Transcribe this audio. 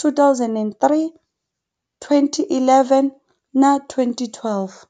2003, 2011 na 2012.